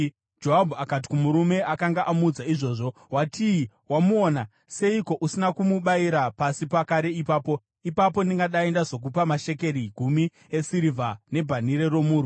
Joabhu akati kumurume akanga amuudza izvozvo, “Watii? Wamuona? Seiko usina kumubayira pasi pakare ipapo? Ipapo ndingadai ndazokupa mashekeri gumi esirivha nebhanhire romurwi.”